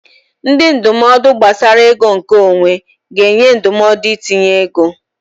Ndị ndụmọdụ gbasara ego nke onwe ga-enye ndụmọdụ itinye ego.